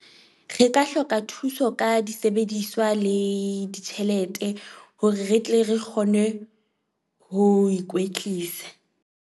Re ka hloka thuso ka disebediswa le ditjhelete hore re tle re kgone ho ikwetlisa.